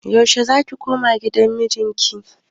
Yaushe ne zaki koma gidan miji ki?